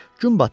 Gün batırdı.